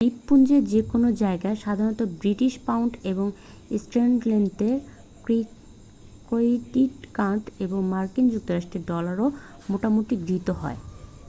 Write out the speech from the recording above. দ্বীপপুঞ্জের যে কোনও জায়গায় সাধারণত ব্রিটিশ পাউন্ড এবং স্ট্যানলেতে ক্রেডিট কার্ড এবং মার্কিন যুক্তরাষ্ট্রের ডলারও মোটামুটি গৃহীত হয়